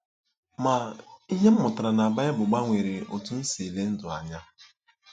Ma, ihe m mụtara na Baịbụl gbanwere otú m si ele ndụ anya.